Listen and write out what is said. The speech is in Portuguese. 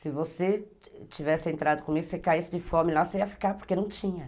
Se você tivesse entrado com isso, você caísse de fome lá, você ia ficar, porque não tinha.